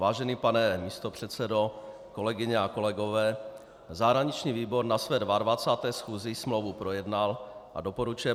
Vážený pane místopředsedo, kolegyně a kolegové, zahraniční výbor na své 22. schůzi smlouvu projednal a doporučuje